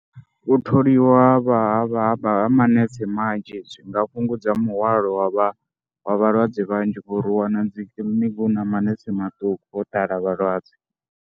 U tholiwa ha vha vha manese manzhi zwi nga fhungudza muhwalo wa vha wa vhalwadze vhanzhi ngori u wana dzi kiḽiniki hu na manese maṱuku ho ḓala vhalwadze.